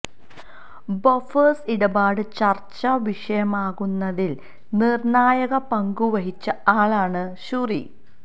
Bofors ഇടപാട് ചർച്ചാ വിഷയമാകുന്നതിൽ നിർണായക പങ്കു വഹിച്ച ആളാണ് ഷൂറി